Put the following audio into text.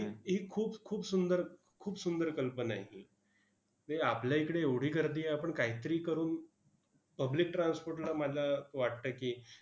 ही खूप खूप सुंदर खूप सुंदर कल्पना आहे ही. म्हणजे आपल्या इकडे एवढी गर्दी आहे. आपण काहीतरी करून public transport ला माझा वाटतंय की,